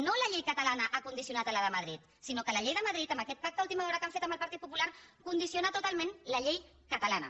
no la llei catalana ha condicionat la de madrid sinó que la llei de madrid amb aquest pacte a última hora que han fet amb el partit popular condiciona totalment la llei catalana